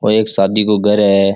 ओ एक शादी को घर है।